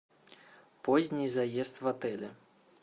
поздний заезд в отеле